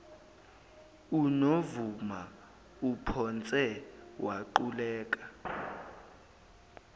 uzovuma uphonse waquleka